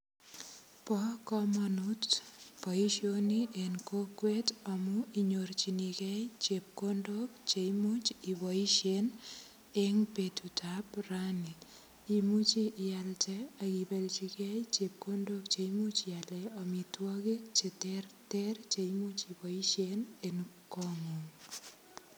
Bo kamanut boisioni en kokwet amu inyorchinigei chepkondok che imuch iboisien eng betutab rani. Imuchi ialde ak ibelchigei chepkondok che imuch ialen amitwogik che terter che imuch iboisien en kongong.